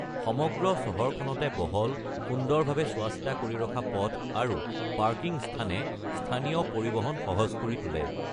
সমগ্ৰ চহৰখনতে বহল, সুন্দৰভাৱে চোৱাচিতা কৰি ৰখা পথ আৰু পাৰ্কিং স্থানে স্থানীয় পৰিবহণ সহজ কৰি তোলে।